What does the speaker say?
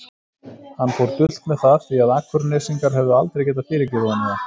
Hann fór dult með það því að Akurnesingar hefðu aldrei getað fyrirgefið honum það.